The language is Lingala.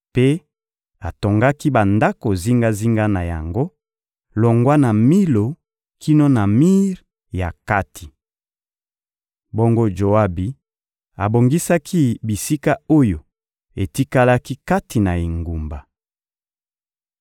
Mpe atongaki bandako zingazinga na yango, longwa na Milo kino na mir ya kati. Bongo Joabi abongisaki bisika oyo etikalaki kati na engumba.